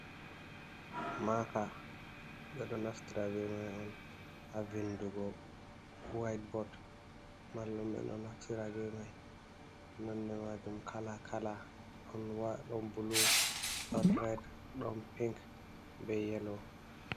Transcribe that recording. Maaka, ɓe ɗo naftira bee mai on haa vindugo waitebod. Mallu'en ɓe ɗo naftira bee mai, nonde maajum kalaa-kalaa ɗon buluu ɗon red ɗon pink bre yeloo.